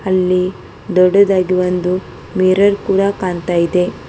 ಇಲ್ಲಿ ದೊಡ್ಡದಾಗಿ ಒಂದು ಮಿರರ್ ಕೂಡ ಕಾಣ್ತಾ ಇದೆ.